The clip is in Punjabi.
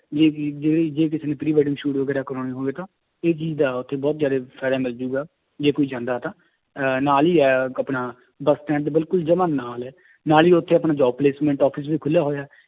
ਜਿਹੜੇ ਜੇ ਕਿਸੇ ਨੇ pre wedding shoot ਵਗ਼ੈਰਾ ਕਰਵਾਉਣੇ ਹੋਣਗੇ ਤਾਂ ਇਹ ਚੀਜ਼ ਦਾ ਉੱਥੇ ਬਹੁਤ ਜ਼ਿਆਦੇ ਫ਼ਾਇਦਾ ਮਿਲ ਜਾਏਗਾ ਜੇ ਕੋਈ ਜਾਂਦਾ ਤਾਂ ਅਹ ਨਾਲ ਹੀ ਹੈ ਆਪਣਾ ਬਸ stand ਦੇ ਬਿਲਕੁਲ ਜਮਾ ਨਾਲ ਹੈ ਨਾਲ ਹੀ ਉੱਥੇ ਆਪਣੇ job placement office ਵੀ ਖੁੱਲਿਆ ਹੋਇਆ